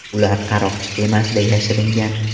Ular qaroqchi kemasida yashiringan.